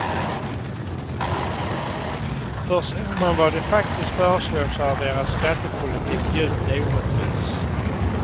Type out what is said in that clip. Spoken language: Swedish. För ser man vad de faktiskt föreslår så är deras skattepolitik djupt orättvis.